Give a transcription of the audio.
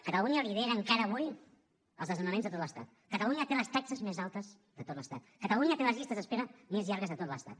catalunya lidera encara avui els desnonaments de tot l’estat catalunya té les taxes més altes de tot l’estat catalunya té les llistes d’espera més llargues de tot l’estat